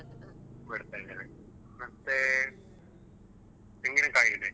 ಬಿಡ್ತಾ ಇದ್ದೇನೆ ಅದಕ್ಕೆ ಮತ್ತೆ ತೆಂಗಿನ ಕಾಯಿ ಇದೆ.